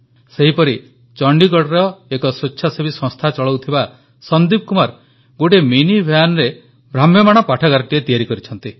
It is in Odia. ସେହିପରି ଚଣ୍ଡିଗଡ଼ରେ ଏକ ସ୍ୱେଚ୍ଛାସେବୀ ସଂସ୍ଥା ଚଳାଉଥିବା ସନ୍ଦିପ କୁମାର ଗୋଟିଏ ମିନି ଭ୍ୟାନରେ ଭ୍ରାମ୍ୟମାଣ ପାଠାଗାରଟିଏ ତିଆରି କରିଛନ୍ତି